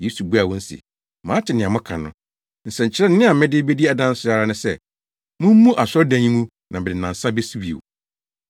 Yesu buaa wɔn se, “Mate nea moaka no. Nsɛnkyerɛnne a mede bedi adanse ara ne sɛ, mummubu asɔredan yi ngu na mede nnansa besi bio.”